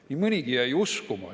Nii mõnigi jäi uskuma.